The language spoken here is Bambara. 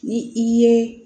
Ni i ye